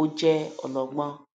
ó jẹ ọlọgbọn